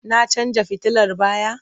Na canja fitilar baya?